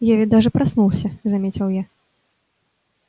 я ведь даже проснулся заметил я